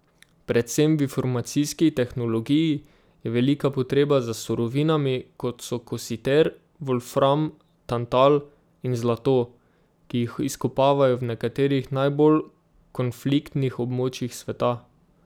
Predvsem v informacijski tehnologiji je velika potreba za surovinami, kot so kositer, volfram, tantal in zlato, ki jih izkopavajo v nekaterih najbolj konfliktnih območjih sveta.